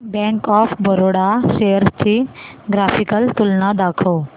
bank of Baroda shares ची graphical तुलना दाखव